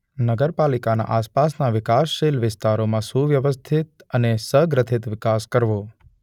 નગરપાલિકાના આસપાસના વિકાસશીલ વિસ્તારોમાં સુવ્યવસ્થિત અને સગ્રથિત વિકાસ કરવો.